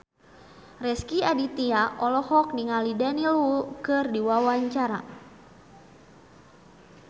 Rezky Aditya olohok ningali Daniel Wu keur diwawancara